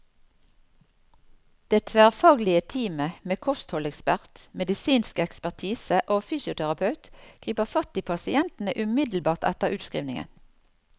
Det tverrfaglige teamet med kostholdsekspert, medisinsk ekspertise og fysioterapeut griper fatt i pasientene umiddelbart etter utskrivningen.